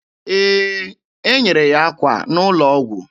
Ee, e nyere ya akwa n'ụlọ ọgwụ.